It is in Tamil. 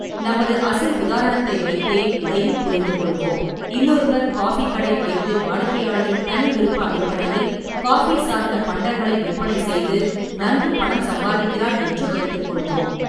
நமது அசல் உதாரணத்தை வைத்தே இதையும் புரிந்துகொள்வோம், இன்னொருவர் காபிக் கடை வைத்து வாடிக்கையாளரின் தனிவிருப்ப அடிப்படையில் காபி சார்ந்த பண்டங்களை விற்பனைசெய்து நன்கு பணம் சம்பாதிக்கிறார் என்று வைத்துக்கொள்வோம்.